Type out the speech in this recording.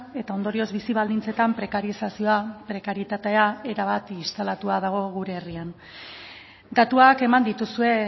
eta ondorioz bizi baldintzetan prekarizazioa prekarietatea erabat instalatua dago gure herrian datuak eman dituzue